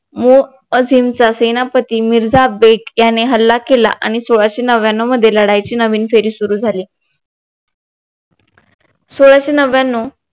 मो असीमचा सेनापती मिर्झा बेग याने हल्ला केला आणि सोळाशे नव्याणव मध्ये लढाईची नवीन फेरी सुरु झाली सोळाशे नव्याणव